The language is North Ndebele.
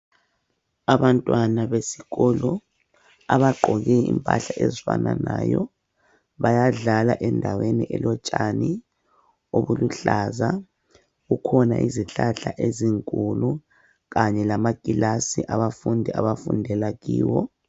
Abantwana besikolo abagqoke impahla ezifananayo bayadlala endaweni elotshani obuluhlaza. Kukhona izihlahla ezinkulu kanye lamakilasi abafundi abafundela kiwo.